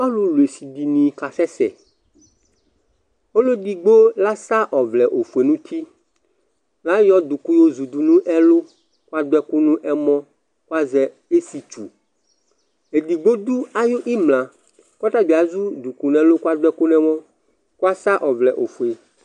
ɔlʊlʊ ɛsiɗiɲi kɑsɛsɛ ɔluɛɗigbọ ạ sɑ ọvlɛfuɛ ɲʊti ɑyọɗʊklụ yõzʊɗụ ɲɛlụ ɑɗʊɛkụ ɲɛmɔ ƙɑzɛ ɛfitsụ ɛɗigbọ ɗụ ɑyimlɑkõtɑbiɑ ɗụglu ɲɛmɔ ƙụɑsɑ ɔvlɛfụɛ